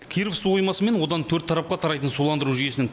киров су қоймасы мен одан төрт тарапқа тарайтын суландыру жүйесінің